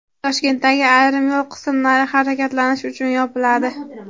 Toshkentdagi ayrim yo‘l qismlari harakatlanish uchun yopiladi.